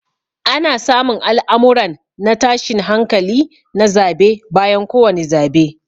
Ana samun al'amurran na tashin hankali na zabe bayan ko wani zabe.